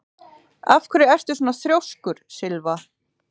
Af hverju ertu svona þrjóskur, Sylva?